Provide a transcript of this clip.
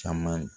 Caman